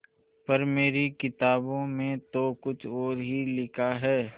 पर मेरी किताबों में तो कुछ और ही लिखा है